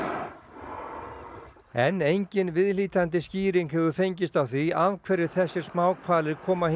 en engin viðhlítandi skýring hefur fengist á því af hverju þessir smáhvalir koma hingað yfir sumarið